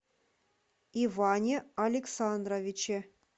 иване александровиче